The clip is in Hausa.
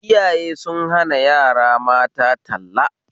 Iyaye sun hana yara mata talla